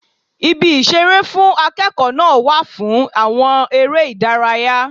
Ibi ìṣeré fún akẹ́kọ̀ọ́ náà wà fún àwọn ère ìdárayá.